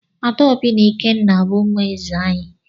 Adaobi na Ikenna bu umu eze anyi.